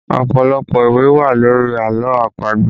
Ọpọlọpọ ìwé wà lórí àlọ́ àpagbè